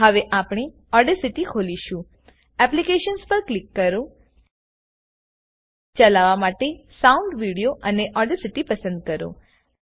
હવે આપને ઓડેસીટી ખોલશું એપ્લીકેશન્સ પર ક્લિક કરો ચાલાવવા માટે સાઉન્ડ વિડીયો અને ઓડેસીટી પસંદ કરો